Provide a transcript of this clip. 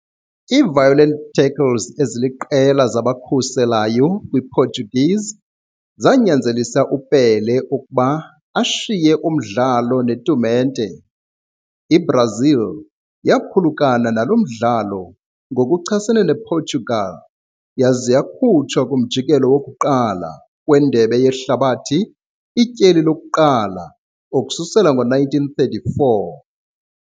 Ngokuchasene Portugal, eziliqela violent tackles kwiPortuguese defenders wenza Pelé ukushiya uthelekiso kunye tournament. Brazil ezilahlekileyo oku thelekisa kwaye waba eliminated lokuqala umjikelo ka-Indebe Yehlabathi okokuqala ukususela 1934.